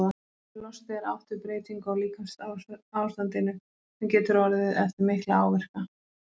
Með losti er átt við breytingu á líkamsástandinu, sem getur orðið eftir mikla áverka.